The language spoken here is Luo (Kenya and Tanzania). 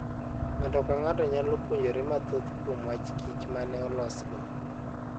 Ng'ato ka ng'ato nyalo puonjore mathoth kuom wach kich ma ne olosgo.